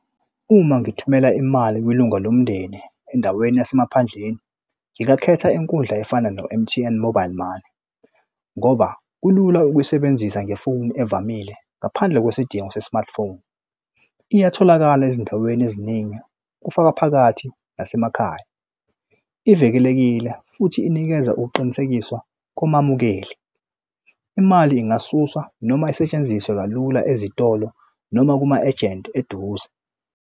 Uma ngithumela imali kwilunga lomndeni endaweni yasemaphandleni, ngingakhetha inkundla efana no-M_T_N mobile money ngoba kulula ukuyisebenzisa ngefoni evamile ngaphandle kwesidingo se-smartphone. Iyatholakala ezindaweni eziningi, kufaka phakathi nasemakhaya. Ivikelekile futhi inikeza ukuqinisekisa komamukeli. Imali ingakasuswa noma isetshenziswe kalula ezitolo noma kuma-ejenti eduze.